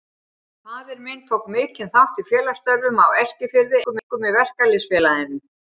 Faðir minn tók mikinn þátt í félagsstörfum á Eskifirði, einkum í Verkalýðs- félaginu.